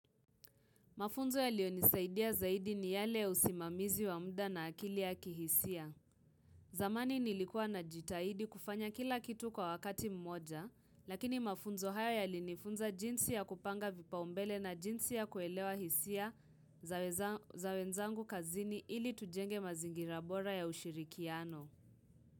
Mafunzo yaliyo nisaidia zaidi ni yale usimamizi wa muda na akili ya kihisia. Zamani nilikua na jitaidi kufanya kila kitu kwa wakati mmoja, lakini mafunzo haya yali nifunza jinsi ya kupanga vipao mbele na jinsi ya kuelewa hisia za wenzangu kazini ili tujenge mazingira bora ya ushirikiano.